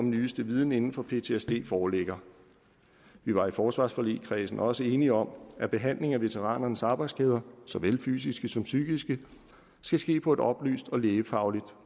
nyeste viden inde for ptsd foreligger vi var i forsvarsforligskredsen også enige om at behandlingen af veteranernes arbejdsskader såvel fysiske som psykiske skal ske på et oplyst og lægefagligt